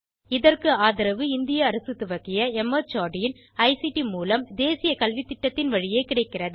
இதற்கு ஆதரவு இந்திய அரசு துவக்கிய மார்ட் இன் ஐசிடி மூலம் தேசிய கல்வித்திட்டத்தின் வழியே கிடைக்கிறது